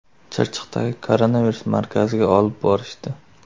Chirchiqdagi koronavirus markaziga olib borishdi.